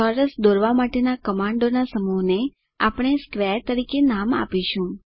ચોરસ દોરવા માટેના કમાન્ડોના સમૂહને આપણે સ્ક્વેર તરીકે નામ આપીશું